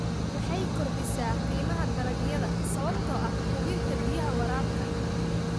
Waxay kordhisaa qiimaha dalagyada sababtoo ah hubinta biyaha waraabka.